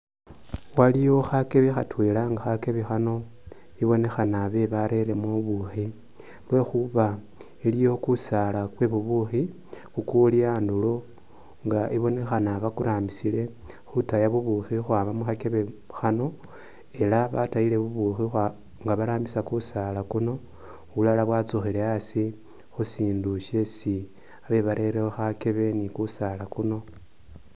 Waliyo khakebe khatwela nga khakebe khano ibonekhana khabee barelemu bubukhi lwekhuba iliwo kusaala kwebubukhi kukuli khandulo nga ibonekhana bakurambisile khutaya bubukhi khukhwama mukhakhebe khano ela batayile bubukhi nga barambisa kusaala kuno bulala bwatsukhile khaasi khushindu shesi khabe barelekho khakebe ni kusaala kuliwo.